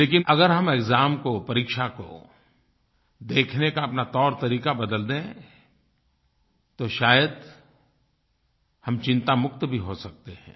लेकिन अगर हम एक्साम को परीक्षा को देखने का अपना तौरतरीका बदल दें तो शायद हम चिंतामुक्त भी हो सकते हैं